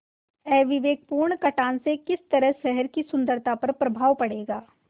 अविवेकपूर्ण कटान से किस तरह शहर की सुन्दरता पर प्रभाव पड़ेगा